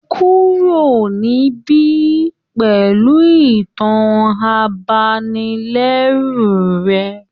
Kúrò níbí pẹ̀lú ìtàn abanilẹ́rù rẹ